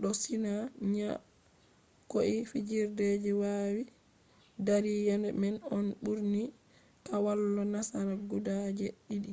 bo sina nyakoi fajjiri je yawi dari yende man on burini kwallo nasara guda jee didi